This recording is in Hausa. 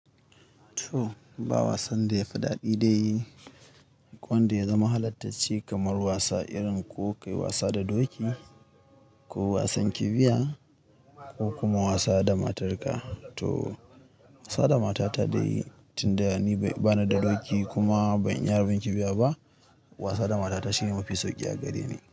To ba wasan da ya fi daɗi dai. Ko wanda ya zama halartacce kamar wasa irin ko ka yi wasa da doki, ko wasan kifiya ko kuma wasa da matarka. To wasa da matata dai tun da ni bana da doki kuma ban iya harbin kifiya ba. Wasa da matata shine mafi sauƙi a gare ni.